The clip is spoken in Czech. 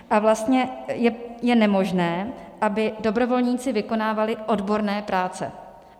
A vlastně je nemožné, aby dobrovolníci vykonávali odborné práce.